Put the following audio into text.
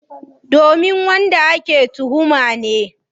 Domin wanda ake tuhuma ne.